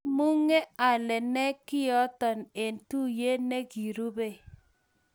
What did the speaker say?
kimukeng'alane kionoto eng' tuyie ne korubei.